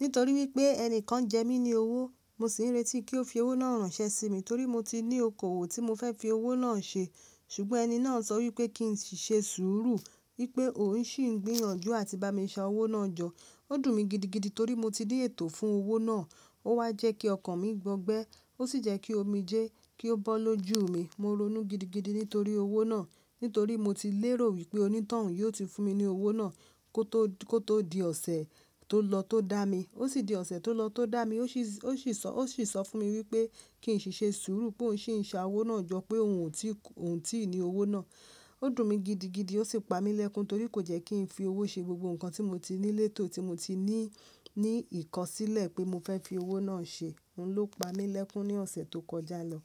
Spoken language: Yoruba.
nítorí wipé ẹnìkan jẹ mi ní owó, mo sì ń retí kí ó fi owó náà rànṣẹ́ sí mi, torí mo ti ní okòwò tí mo fẹ́ fi owó náà ṣe. Sùgbọ́n ẹni náà sọ wí pé kí n sì ṣe sùúrù wí pé òun ṣì ń gbíyànjú àti bá mi ṣa owó náà jọ. Ó dùn mí gidigidi torí mo ti ní ètò fún owó náà. Ó wá jẹ́ kí ọkàn mí gbọgbẹ́, ó sì jẹ́ kí omi jẹ kí ó bọ́ lójú mi. Mo ronú gidigidi nítorí owó náà, nítorí mo ti lérò wí pé onítàn yí ó ti fún mi ní owó náà. Kó tó di ọ̀sẹ̀ tó lọ tó dá mi, ó sì di ọ̀sẹ̀ tó lọ tó dá mi, ó sì sọ fún mi wí pé kí n sì ṣe sùúrù pé òun ṣì ń ṣa owó náà jọ, pé òun ò tíì ni owó náà. Ó dùn mí gidigidi, ó sì pa mí lẹ́kún torí kò jẹ́ kí n fi owó ṣe gbogbo nǹkan tí mo ti ní létò, tí mo ti ní ìkọ̀sílẹ̀ pé mo fẹ́ fi owó náà ṣe. Òun ló pa mí lẹ́kún ní ọ̀sẹ̀ tó kọjá lọ.